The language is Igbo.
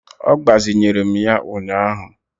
Ọ gbazinyere m ya ụnyaahụ